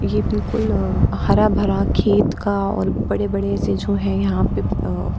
ये बिल्कुल अ हरा-भरा खेत का और बड़े-बड़े से जो है यहां पे अ --